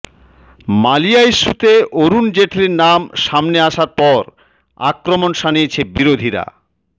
মালিয়া ইস্যুতে অরুণ জেটলির নাম সামনে আসার পর আক্রমণ শাণিয়েছে বিরোধীরা